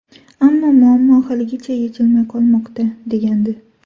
Ammo muammo haligacha yechilmay qolmoqda”, degandi.